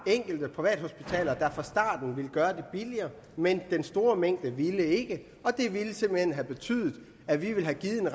enkelte privathospitaler der fra starten ville gøre det billigere men den store mængde ville ikke og det ville simpelt hen have betydet at vi ville have givet en